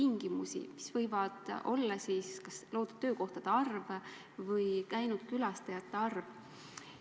Need lubadused võivad olla kas loodud töökohade arv või käinud külastajate arv.